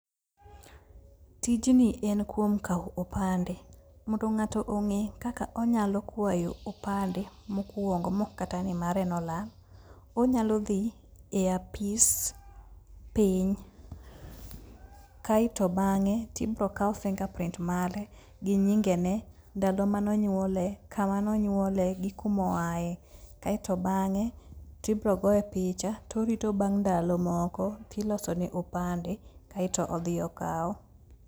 Tijni en kuom kawo opande. Mondo ng'ato ong'e kaka onyalo kwayo opande mokwongo maok kata ni mare nolal, onyalo dhi e apis piny. Kae to bang'e tibiro kaw finger prints mare, gi nyingene, ndalo mane onyuolee, kama nonyuolee gi kuma oaye. Kasto bang'e tibiro goye picha, torito bang' ndalo moko kilosone opande, kaeto odhi okawo.